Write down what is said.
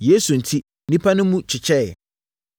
Yesu enti, nnipa no mu kyekyɛeɛ.